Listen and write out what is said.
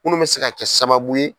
Munnu bɛ se ka kɛ sababu ye.